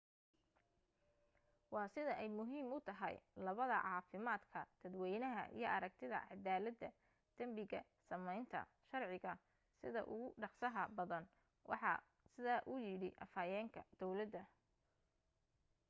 "waa sida ay muhiim u tahay labada caafimaadka dadweynaha iyo aragtida cadaalada dambiga sameynta sharciga sida ugu dhaqsaha badan waxaa sidaa u yiri afhayeenka dawlada.